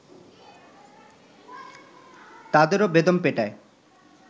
তাদেরও বেদম পেটায়